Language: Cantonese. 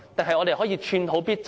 還是只可以寸土必爭？